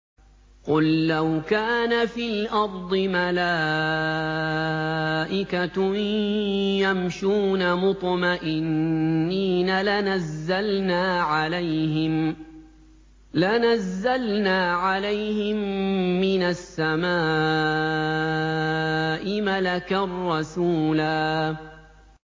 قُل لَّوْ كَانَ فِي الْأَرْضِ مَلَائِكَةٌ يَمْشُونَ مُطْمَئِنِّينَ لَنَزَّلْنَا عَلَيْهِم مِّنَ السَّمَاءِ مَلَكًا رَّسُولًا